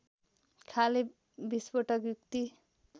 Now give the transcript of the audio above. खाले विस्फोटक युक्ति